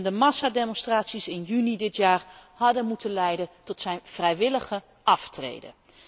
En de massademonstraties in juni dit jaar hadden moeten leiden tot zijn vrijwillige aftreden.